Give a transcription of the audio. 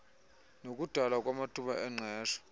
nokudalwa kwamathuba engqesho